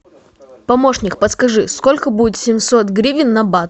помощник подскажи сколько будет семьсот гривен на бат